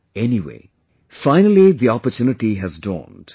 Anyway, finally the opportunity has dawned